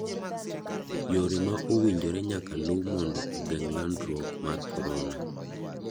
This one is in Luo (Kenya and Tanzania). Yore ma owinjore nyaka lu mondo ogeng landruok mar korora.